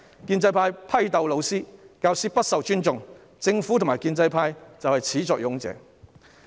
建制派批鬥老師，教師不受尊重，政府及建制派是始作俑者。